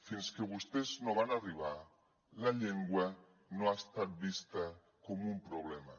fins que vostès no van arribar la llengua no ha estat vista com un problema